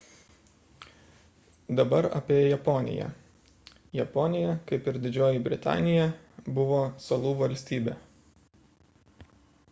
dabar apie japoniją japonija kaip ir didžioji britanija buvo salų valstybė